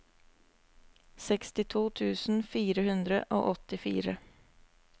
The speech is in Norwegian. sekstito tusen fire hundre og åttifire